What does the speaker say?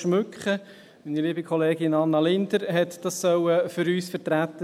Meine liebe Kollegin Anna Linder sollte das für uns vertreten.